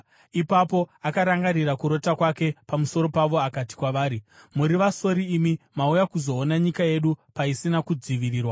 Ipapo akarangarira kurota kwake pamusoro pavo akati kwavari, “Muri vasori imi. Mauya kuzoona nyika yedu paisina kudzivirirwa.”